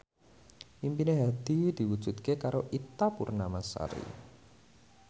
impine Hadi diwujudke karo Ita Purnamasari